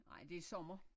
Nej det sommer